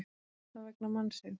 Kannski var það vegna mannsins.